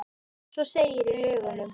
Svo segir í lögunum.